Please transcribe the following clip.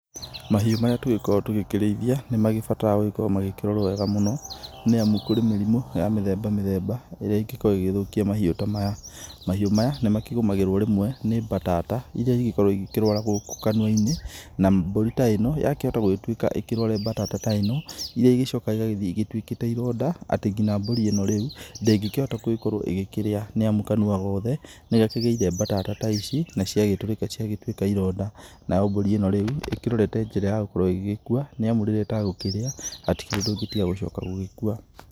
Mahiũ maya tũgĩkoragwo tũgĩkĩrĩithia nĩmagĩbataraga gũkorwo magĩkĩrorwo wega mũno, nĩamu kũrĩ mĩrimũ ya mĩthemba mĩthemba ĩrĩa ĩngĩkorwo ĩgĩthũkia mahiũ ta maya, mahiũ maya nĩmakĩgũmagĩrwo rĩmwe nĩ batata iria ingĩkorwo ikĩrwaragwo gũkũ kanua-inĩ, na mbũri ta ĩno yakĩhota gũgĩtuĩka ĩkĩrware batata ta ĩno, iria icokaga gũthiĩ igĩtuĩkĩte ironda, ati nginya mbũri ĩno rĩu ndingĩkĩhota gũkorwo ĩgĩkĩrĩa nĩamu kanua gothe, nĩgakĩgĩire batata ta ici na ciagĩtũrĩka ciagĩtuĩka ironda, nayo mbũri ĩno rĩu ĩkĩrorete njĩra ya gũkorwo ĩgĩkua nĩamu rĩrĩa ĩtagũkĩria hatikĩrĩ ũndũ ũngĩ tiga gũcoka gũgĩkua.